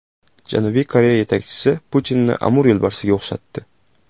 Janubiy Koreya yetakchisi Putinni Amur yo‘lbarsiga o‘xshatdi.